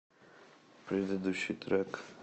предыдущий трек